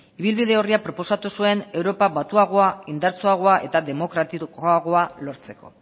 ibilbide orria proposatu zuen europa batuagoa indartsuagoa eta demokratikoagoa lortzeko